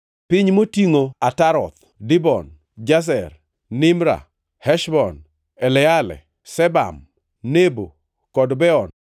Piny motingʼo Ataroth, Dibon, Jazer, Nimra, Heshbon, Eleale, Sebam, Nebo kod Beon